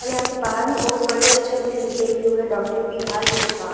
और यहाँ पे बाहर में बहोत बड़े अक्षर में लिखे हुए हुवे हैं डॉक्टर बी आर गुप्ता।